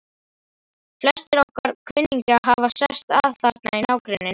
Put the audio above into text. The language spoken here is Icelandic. Flestir okkar kunningjar hafa sest að þarna í nágrenninu.